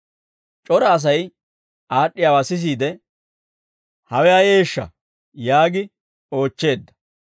C'ora Asay aad'd'iyaawaa sisiide, «Hawe ayeeshsha?» yaagi oochcheedda.